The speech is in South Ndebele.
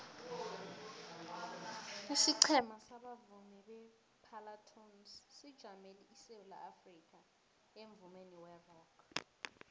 isiqhema sabavumi separlatones sijamele isewula afrikha emvumeni werock